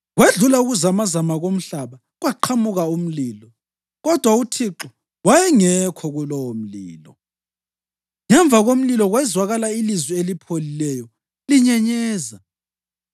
Kwedlula ukuzamazama komhlaba kwaqhamuka umlilo, kodwa uThixo wayengekho kulowomlilo. Ngemva komlilo kwezwakala ilizwi elipholileyo linyenyeza.